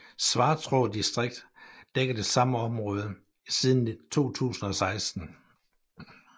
Svartrå distrikt dækker det samme område siden 2016